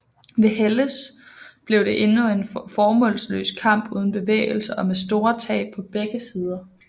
Ved Helles blev det endnu en formålsløs kamp uden bevægelse og med store tab på begge sider